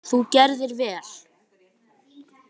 Þú gerðir vel!